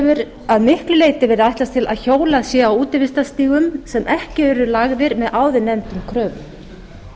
hefur að miklu leyti verið ætlast til að hjólað sé á útivistarstígum sem ekki eru lagðir með áður nefndum kröfum